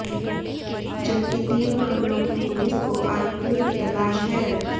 जबकि तीन मामलों की पुलिस को आरोपियों की तलाश है